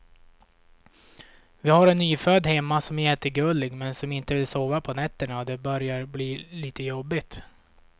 Vi har en nyfödd hemma som är jättegullig, men som inte vill sova på nätterna och det börjar bli lite jobbigt.